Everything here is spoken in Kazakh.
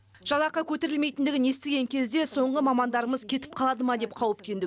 жалақы көтерілмейтіндігін естіген кезде соңғы мамандарымыз кетіп қалады ма деп қауіптендік